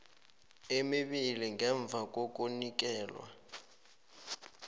emibili ngemva kokunikelwa